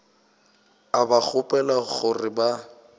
a ba kgopela gore ba